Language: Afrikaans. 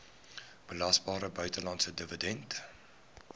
belasbare buitelandse dividend